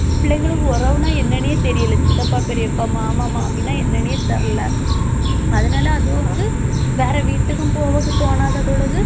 பிள்ளைங்களுக்கு உறவுன்னா என்னன்னே தெரியல சித்தப்பா, பெரியப்பா, மாமா, மாமின்னா என்னன்னே தெரியல அதனால அதுவும் வந்து வேற வீட்டுக்கும் போவக்கு தோணாத பொழுது